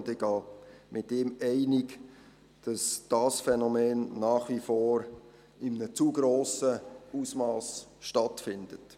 Ich gehe einig mit ihm, dass dieses Phänomen nach wie vor in einem zu grossen Ausmass stattfindet.